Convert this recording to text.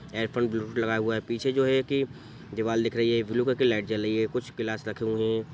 Earphone Bluetooth लगाया हुआ है | पीछे जो है की दीवार दिख रही है ब्लू कलर की लाइट जल रही है कुछ ग्लास रखे हुए हैं ।